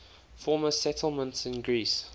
former settlements in greece